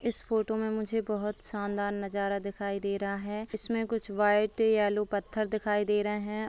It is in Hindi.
इस फ़ोटो मे मुझे बहुत शानदार नजारा दिखाई दे रहा है इसमे कुछ व्हाइट येलो पत्थर दिखाई दे रहे हैं।